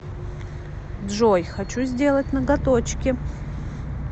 джой хочу сделать ноготочки